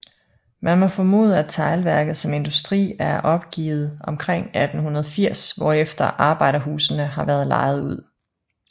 Man må formode at Teglværket som industri er opgivet omkring 1880 hvorefter arbejderhusene har været lejet ud